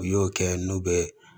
U y'o kɛ n'u bɛ